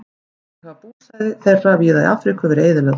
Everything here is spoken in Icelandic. Einnig hafa búsvæði þeirra víða í Afríku verið eyðilögð.